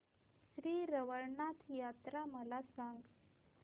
श्री रवळनाथ यात्रा मला सांग